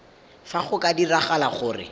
fa go ka diragala gore